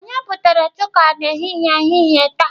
Onye butere chuka n'ehihie n'ehihie taa?